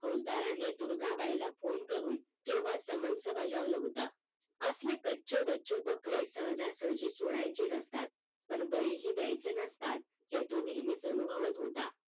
फौसदार दुर्गा बाईला PHONE करून केव्हाच समन्स बजावलं होतं असले कच्चे बच्चे बकरे सहजासहजी सोडायचे नसतात पण बळी ही द्यायचे नसतात हे तो नेहमीच अनुभवत होता